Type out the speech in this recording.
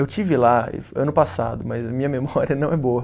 Eu estive lá ano passado, mas a minha memória não é boa.